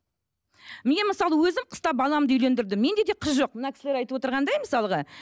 мен мысалы өзім қыста баламды үйлендірдім менде де қыз жоқ мына кісілер айтывотырғандай мысалға